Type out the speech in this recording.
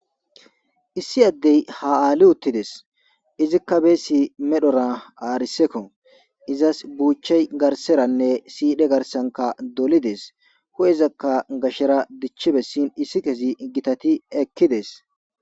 Issi addey ha Ali uttides izika beesi medhora ariseko izas buuchey garseranne sidhe garsanka dolides hu'ezaka gashera dichi besin isikezi gitati ekides.